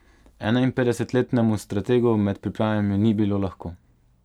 Enainpetdesetletnemu strategu med pripravami ni bilo lahko.